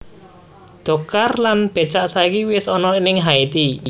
Dokar lan becak saiki wes ono ning Haiti